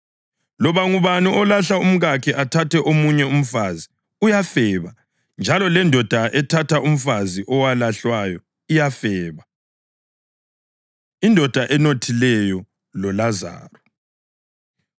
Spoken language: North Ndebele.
Loba ngubani olahla umkakhe athathe omunye umfazi uyafeba njalo lendoda ethatha umfazi owalahlwayo iyafeba.” Indoda Enothileyo LoLazaro